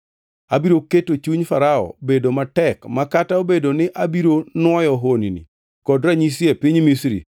Abiro keto chuny Farao bedo matek, ma kata obedo ni abiro nwoyo honni kod ranyisi e piny Misri,